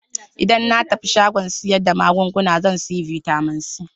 Idan na tafi shagon sayar da magunguna zan sayi Bitamin C.